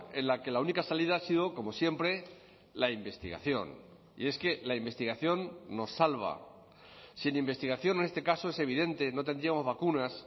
en la que la única salida ha sido como siempre la investigación y es que la investigación nos salva sin investigación en este caso es evidente no tendríamos vacunas